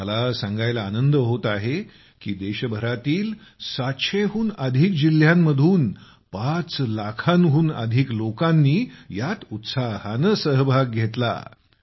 मला कळविण्यात आनंद होत आहे की देशभरातील 700 हून अधिक जिल्ह्यांतील 5 लाखांहून अधिक लोकांनी यात उत्साहाने सहभाग घेतला आहे